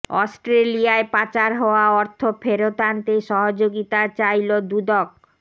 অস্ট্রেলিয়ায় পাচার হওয়া অর্থ ফেরত আনতে সহযোগিতা চাইল দুদক